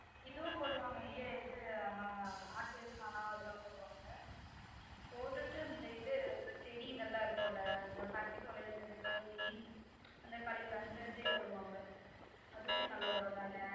இதுவும் போடுவாங்க இது இது நம்ம ஆட்டு சாணம் அதுலாம் போடுவாங்க போட்டுட்டு இந்த இது செடி இதெல்லாம் இருக்கும் ல இந்த பருத்தி அந்த கழிவு அந்த இது போடுவாங்க அதுவுமே நல்லா ஒரம் ஆகிரும்